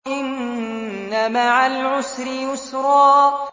إِنَّ مَعَ الْعُسْرِ يُسْرًا